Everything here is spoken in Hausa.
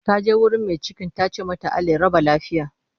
Ta je wurin mai cikin ta ce mata 'Allah ya raba lafiya'